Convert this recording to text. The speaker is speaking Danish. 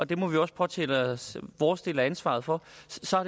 det må vi også påtage os vores del af ansvaret for